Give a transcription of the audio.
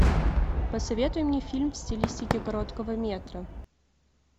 посоветуй мне фильм в стилистике короткого метра